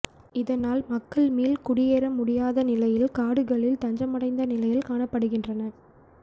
இதனால் மக்கள் மீள் குடியேற முடியாத நிலையில் காடுகளில் தஞ்சமடைந்த நிலையில் காணப்படுகின்றனர்